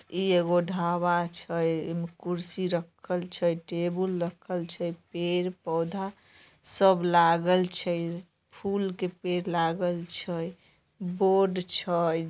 इ एगो ढाबा छै कुर्सी रखल छै टेबुल रखल छै। पेड़-पोधे सब लागेल छै फुल के पेड़ लागल छै बोर्ड छै।